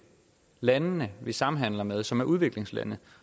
landene vi samhandler med som er udviklingslande